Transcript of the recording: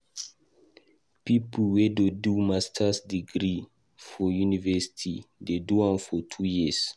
Pipo wey dey do Masters degree for university dey do am for two years.